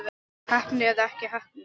Heppni eða ekki heppni?